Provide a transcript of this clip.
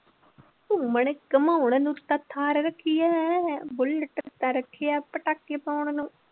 ਘੁੰਮਣ ਘੁੰਮਾਉਣ ਨੂੰ ਤਾਂ ਥਾਰ ਰੱਖੀ ਹੈ, ਬੁਲਟ ਤਾਂ ਰੱਖਿਆ ਪਟਾਕੇ ਪਾਉਣ ਨੂੰ।